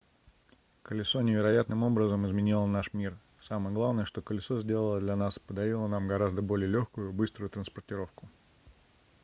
колесо невероятным образом изменило наш мир самое главное что колесо сделало для нас - подарило нам гораздо более лёгкую и быструю транспортировку